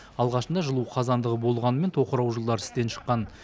алғашында жылу қазандығы болғанымен тоқырау жылдары істен шыққан